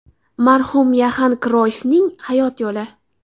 Marhum Yoxan Kroyffning hayot yo‘li.